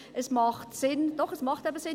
Es macht Sinn – doch, es macht eben Sinn